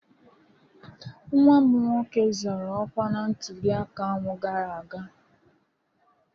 Nwa m nwoke zọrọ ọkwa na ntụliaka ahụ gara aga.